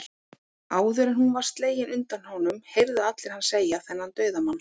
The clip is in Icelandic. Áður en hún var slegin undan honum, heyrðu allir hann segja, þennan dauðamann